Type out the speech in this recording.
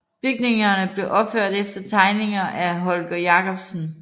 Bygningerne blev opført efter tegninger af Holger Jacobsen